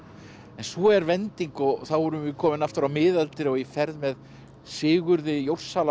en svo er vending og þá erum við komin aftur á miðaldir í ferð með Sigurði